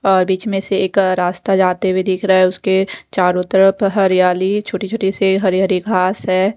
और बीच में से एक रास्ता जाते हुए दिख रहा है उसके चारों तरफ हरियाली छोटी-छोटी से हरी हरी घास है।